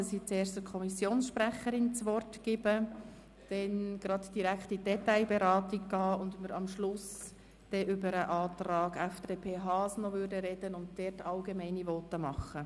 Zuerst hat die Kommissionssprecherin das Wort, dann steigen wir direkt in die Detailberatung ein, und am Schluss sprechen wir über den Antrag der FDP-Fraktion von Grossrat Haas und halten an dieser Stelle allgemeine Voten.